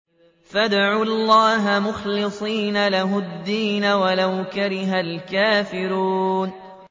فَادْعُوا اللَّهَ مُخْلِصِينَ لَهُ الدِّينَ وَلَوْ كَرِهَ الْكَافِرُونَ